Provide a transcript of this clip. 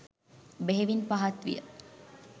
බෙහෙවින් පහත් විය.